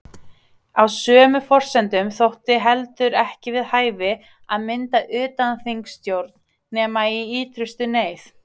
Á sömu forsendum þótti heldur ekki við hæfi að mynda utanþingsstjórn nema í ýtrustu neyð.